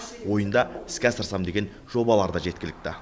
ойында іске асырсам деген жобалары да жеткілікті